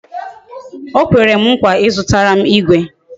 O kwere m nkwa Ị zụtara m igwe